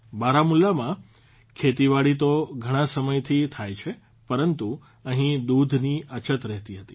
બારમુલામાં ખેતીવાડી તો ઘણાં સમયથી થાય છે પરંતુ અહીં દૂધની અછત રહેતી હતી